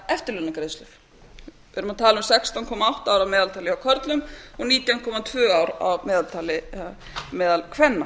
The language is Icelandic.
eftirlaunagreiðslur við erum að tala um sextán komma átta ár að meðaltali hjá körlum og nítján komma tvö ár að meðaltali meðal kvenna